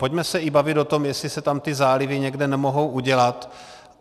Pojďme se i bavit o tom, jestli se tam ty zálivy někde nemohou udělat.